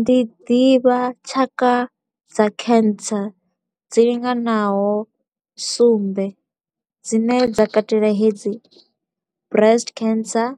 Ndi ḓivha tshaka dza cancer dzi linganaho sumbe, dzine dza katela hedzi breast cancer,